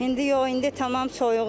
İndi yox, indi tamam soyuqdur.